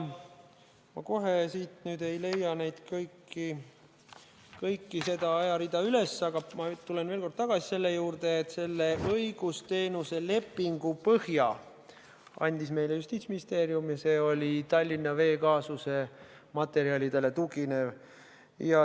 Ma kohe siit ei leia kogu seda ajarida üles, aga ma tulen veel kord tagasi selle juurde, et selle õigusteenuse lepingu põhja andis meile Justiitsministeerium ja see tugines Tallinna Vee kaasuse materjalidele.